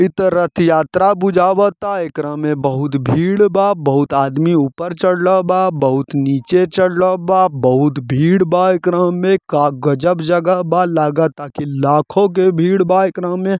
इ ता रथ यात्रा बुझावता एकरा मे बहुत भीड़ बा बहुत आदमी ऊपर चढ़ले बा बहुत नीचे चढ़ले बा बहुत भीड़ बा एकरा मे का गजब जगह बा लगाता के लाखों के भीड़ एकरा में ।